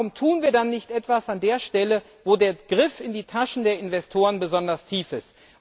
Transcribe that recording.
Warum tun wir dann nichts an der Stelle, wo der Griff in die Taschen der Investoren besonders tief ist?